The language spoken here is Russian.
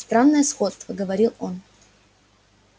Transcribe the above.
странное сходство говорил он